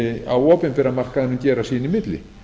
á opinbera markaðnum gera sín í milli